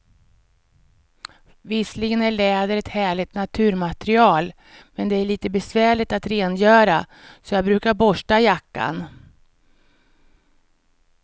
Visserligen är läder ett härligt naturmaterial, men det är lite besvärligt att rengöra, så jag brukar borsta jackan.